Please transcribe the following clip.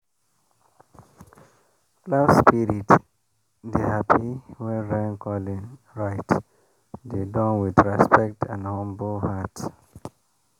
cloud spirit dey happy when rain-calling rite dey done with respect and humble heart.